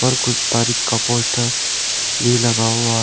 ऊपर कुछ तारीख का पोस्टर भी लगा हुआ है।